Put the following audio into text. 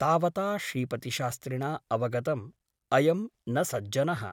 तावता श्रीपतिशास्त्रिणा अवगतम् ' अयं न सज्जनः ।